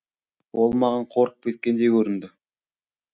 ол маған қорқып кеткендей көрінді